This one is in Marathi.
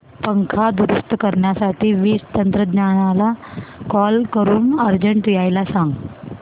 पंखा दुरुस्त करण्यासाठी वीज तंत्रज्ञला कॉल करून अर्जंट यायला सांग